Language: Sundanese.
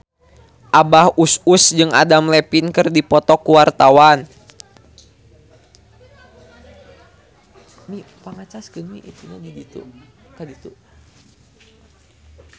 Abah Us Us jeung Adam Levine keur dipoto ku wartawan